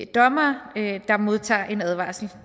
dommere der modtager en advarsel